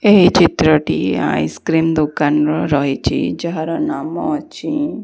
ଏହି ଚିତ୍ରଟି ice cream ଦୋକାନର ରହିଛି ଯାହାର ନାମ ଅଛି।